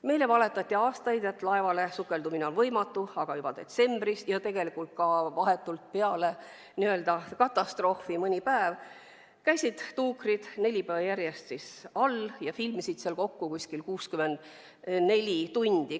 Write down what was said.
Meile on aastaid valetatud, et laevale sukeldumine on võimatu, kuigi detsembris, aga ka juba mõni päev pärast katastroofi käisid tuukrid neli päeva järjest all ja filmisid seal kokku umbes 64 tundi.